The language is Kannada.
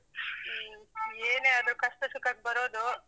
ಏನೇ ಆದ್ರೂ ಕಷ್ಟ ಸುಖಕ್ ಬರೋದು.